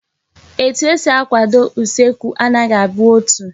Etu esi akwado usekwu anaghi abụ otu